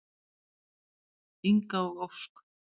Inga og Ósk.